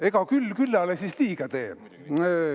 Ega küll küllale siis liiga tee.